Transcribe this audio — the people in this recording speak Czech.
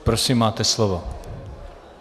Prosím, máte slovo.